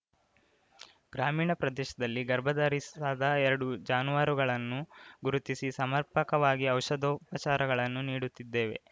ಗ್ರಾಮೀಣ ಪ್ರದೇಶದಲ್ಲಿ ಗರ್ಭಧರಿಸದ ಎರಡು ಜಾನುವಾರುಗಳನ್ನು ಗುರುತಿಸಿ ಸಮರ್ಪಕವಾಗಿ ಔಷಧೋಪಚಾರಗಳನ್ನು ನೀಡುತ್ತಿದ್ದೇವೆ